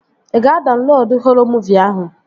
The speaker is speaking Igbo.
Ị ga-adaunlodu họrọ muuvi ahụ?